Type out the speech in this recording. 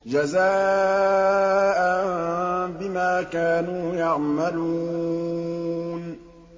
جَزَاءً بِمَا كَانُوا يَعْمَلُونَ